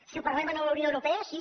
si ho parlem a la unió europea sí